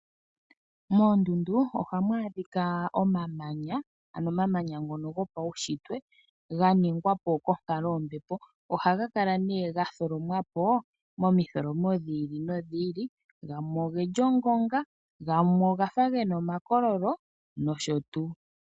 Moondundu ohamu adhika omamanya, ano omamanya ngono go pawushitwe ga ningwapo konkalo yombepo. Oha gakala nee gatholo mwapo momi tholomo dhiili no dhiili, gamwe ogeli ngonga, gamwe ogafa gena omakololo nosho tuu.